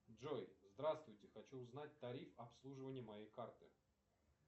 джой здравствуйте хочу узнать тариф обслуживания моей карты